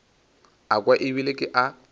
a kwa ebile ke a